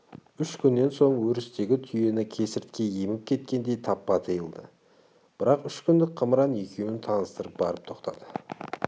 үш күннен соң өрістегі түйені кесіртке еміп кеткендей таппа тиылды бірақ үш күндік қымыран екеуін таныстырып барып тоқтады